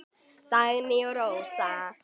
Dagný og Rósa.